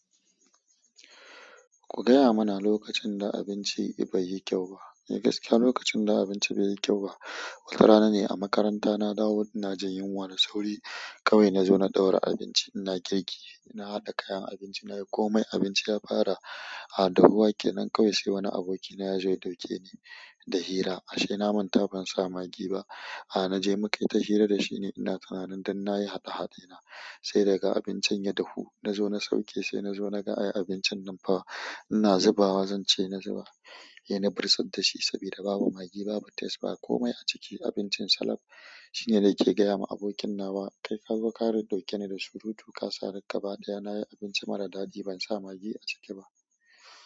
Ku gaya mana lokacin da abinci bai yi kyau ba. Eh gaskiya lokacin da abinci bai yi kyau ba, wata rana ne a makaranta na dawo ina jin yunwa da sauri kawai na zo na ɗaura abinci. Ina girki, na haɗa kayan abinci na yi komai, abinci ya fara ah dahuwa kenan. Nan kawai sai wani abokina ya zo ya ɗauke ni da hira. "Ah ashe na manta ban sa magi ba." Ah na je mu kai ta hira da shi ne, ina tunanin duk na yi haɗa-haɗe na. Sai daga abincin ya dahu na zo na sauke, sai na zo na ga ai abincin nan fa. Ina zubawa zanci sai na zuba. Ina bursar da shi saboda babu magi, babu taste ba komai a ciki. Abincin salam, shine nake gaya ma abokin nawa "kai kazo ka ɗaɗ ɗauke ni da surutu kasa ni gaba ɗaya nayi abinci mara ɗaɗi ban sa magi aciki ba."